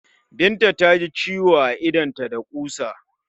Binta ta ji ciwo a idonta da ƙusa.